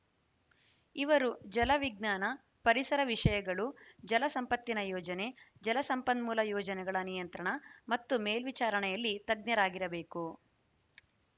ಇವರು ಜಲ ವಿಜ್ಞಾನ ಪರಿಸರ ವಿಷಯಗಳು ಜಲ ಸಂಪತ್ತಿನ ಯೋಜನೆ ಜಲ ಸಂಪನ್ಮೂಲ ಯೋಜನೆಗಳ ನಿಯಂತ್ರಣ ಮತ್ತು ಮೇಲ್ವಿಚಾರಣೆಯಲ್ಲಿ ತಜ್ಞರಾಗಿರಬೇಕು